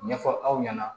Ɲɛfɔ aw ɲɛna